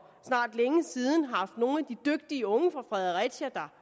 snart længe siden haft nogle af de dygtige unge fra fredericia der